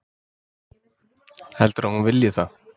Heldurðu að hún vilji það?